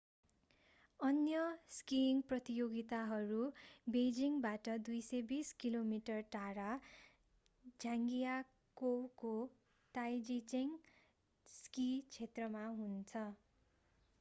अन्य स्कीइङ प्रतियोगिताहरू बेइजिङबाट 220 किलोमिटर 140 माइल टाढा झाङजियाकोउको ताइजिचेङ स्की क्षेत्रमा हुनेछन्।